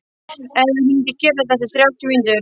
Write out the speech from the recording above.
Emmý, hringdu í Gerald eftir þrjátíu mínútur.